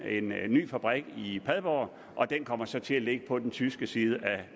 ny fabrik i padborg og den kommer så nu til at ligge på den tyske side af